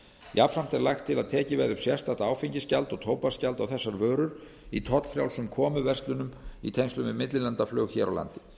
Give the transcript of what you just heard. jafnframt er lagt til að tekið verði upp sérstakt áfengisgjald og tóbaksgjald á þessar vörur í tollfrjálsum komuverslunum í tengslum við millilandaflug hér á landi